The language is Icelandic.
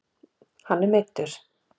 Hann er meiddur